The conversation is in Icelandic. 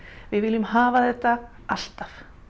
við viljum hafa þetta alltaf